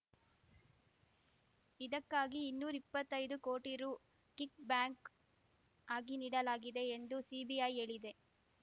ಇದಕ್ಕಾಗಿ ಇನ್ನೂರ ಇಪ್ಪತ್ತೈದು ಕೋಟಿ ರು ಕಿಕ್‌ಬ್ಯಾಂಕ್‌ ಆಗಿ ನೀಡಲಾಗಿದೆ ಎಂದು ಸಿಬಿಐ ಹೇಳಿದೆ